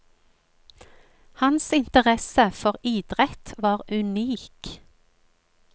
Hans interesse for idrett var unik.